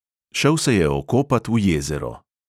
Šel se je okopat v jezero.